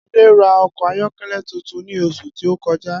Adé ra o̩kò̩ ayó̩ké̩lé̩ tuntun ní os̩ù tí ó ko̩já